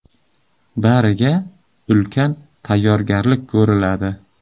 Bariga ulkan tayyorgarlik ko‘riladi.